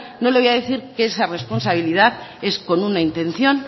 no le voy a decir que esa responsabilidad es con una intención